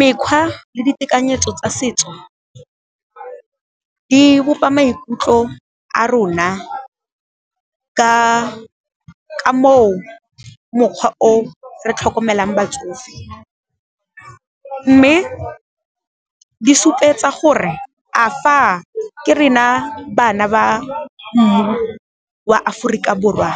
Mekgwa le ditekanyetso tsa setso, di bopa maikutlo a rona ka moo mokgwa o re tlhokomelang batsofe, mme di supetsa gore a fa ke rena bana ba mmu wa Aforika Borwa,